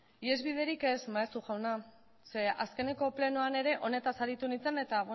ihesbiderik ez maeztu jauna ze azkeneko plenoan ere honetaz aritu nintzen eta